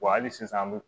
Wa hali sisan an bɛ